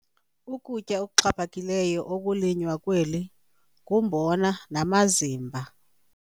Ukutya okuxhaphakileyo okulinywa kweli ngumbona namazimba.